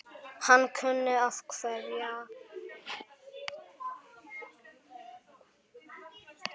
Hann kunni að kveðja.